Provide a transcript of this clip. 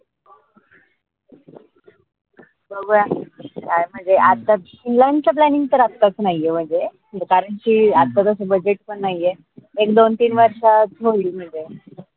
बघूया काय म्हनजे आता फिनलँडच planning तर आताच नाई ए म्हनजे कारन की आता तस budget पन नाई ए एक दोन, तीन वर्षात होईल म्हनजे